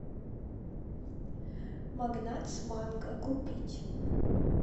магнат с манго купить